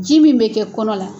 Ji min bɛ kɛ kɔnɔ la